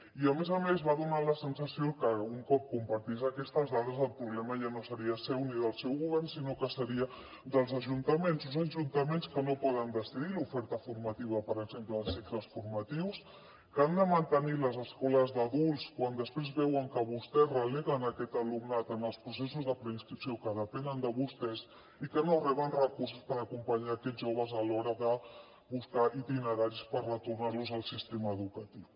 i a més a més va donar la sensació que un cop compartís aquestes dades el problema ja no seria seu ni del seu govern sinó que seria dels ajuntaments uns ajuntaments que no poden decidir l’oferta formativa per exemple de cicles formatius que han de mantenir les escoles d’adults quan després veuen que vostès releguen aquest alumnat en els processos de preinscripció que depenen de vostès i que no reben recursos per acompanyar aquests joves a l’hora de buscar itineraris per retornar los al sistema educatiu